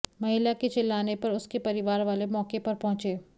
महिला के चिल्लाने पर उसके परिवार वाले मौके पर पहुंचे